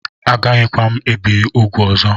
Agaghịkwa ebi m úgwù ọzọ